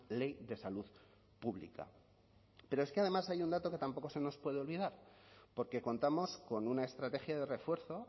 ley de salud pública pero es que además hay un dato que tampoco se nos puede olvidar porque contamos con una estrategia de refuerzo